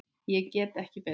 Ég get ekki betur.